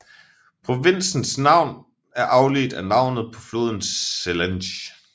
Provinsens navn er afledt af navnet på floden Selenge